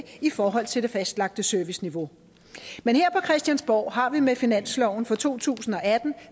i forhold til det fastlagte serviceniveau men her på christiansborg har vi med finansloven for to tusind og atten